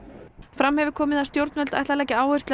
fram hefur komið að stjórnvöld ætla að leggja áherslu